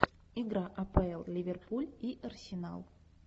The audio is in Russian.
игра апл ливерпуль и арсенал